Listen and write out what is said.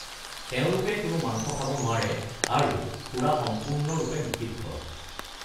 তেওঁলোকে কোনো মাংস খাব নোৱাৰে আৰু সুৰা সম্পূৰ্ণৰূপে নিষিদ্ধ।